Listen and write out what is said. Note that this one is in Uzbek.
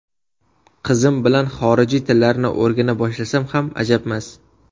Qizim bilan xorijiy tillarni o‘rgana boshlasam ham ajabmas.